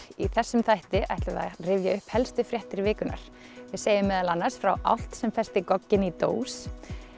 í þessum þætti ætlum við að rifja upp helstu fréttir vikunnar við segjum meðal annars frá álft sem festi gogginn í dós